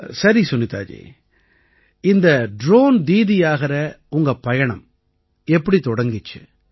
சரி சுனிதா ஜி இந்த ட்ரோன் தீதியாகற உங்க பயணம் எப்படி தொடங்கிச்சு